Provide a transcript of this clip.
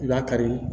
I b'a kari